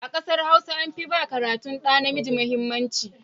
A ƙasar Hausa an fi ba karatun ɗa namiji mahimmanci.